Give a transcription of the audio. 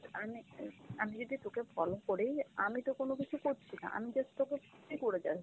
আমি অ্যাঁ, আমি যদি তোকে follow করি আমি তো কোনো কিছু করছি না, আমি just তোকে ই করে যাচ্ছি।